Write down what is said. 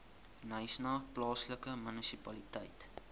knysna plaaslike munisipaliteit